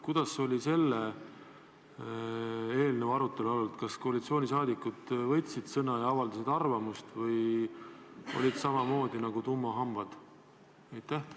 Kuidas olid selle eelnõu arutelu olud, kas koalitsiooni liikmed võtsid sõna ja avaldasid arvamust või olid samamoodi nagu tummahambad?